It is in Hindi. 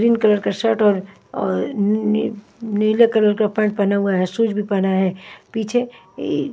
ग्रीन कलर का शर्ट और नीले कलर का पेंट पहना हुआ है शूज भी पहना है पीछे--